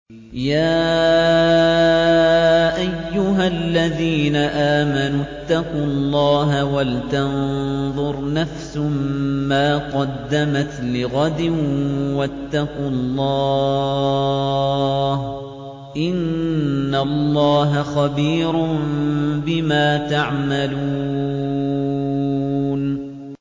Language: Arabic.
يَا أَيُّهَا الَّذِينَ آمَنُوا اتَّقُوا اللَّهَ وَلْتَنظُرْ نَفْسٌ مَّا قَدَّمَتْ لِغَدٍ ۖ وَاتَّقُوا اللَّهَ ۚ إِنَّ اللَّهَ خَبِيرٌ بِمَا تَعْمَلُونَ